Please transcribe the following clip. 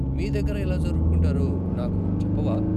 మీ దగ్గర ఎలా జరుపుకుంటారో, నాకు చెప్పవా?